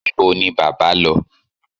Ibo ni bábà lọ?